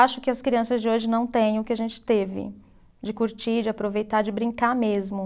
Acho que as crianças de hoje não têm o que a gente teve de curtir, de aproveitar, de brincar mesmo.